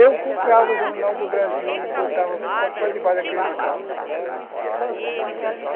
Eu comprava o Jornal do Brasil e botava quase embaixo daqueles carros.